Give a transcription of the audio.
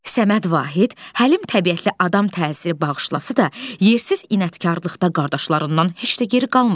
Səməd Vahid həlim təbiətli adam təsiri bağışlasa da, yersiz inadkarlıqda qardaşlarından heç də geri qalmır.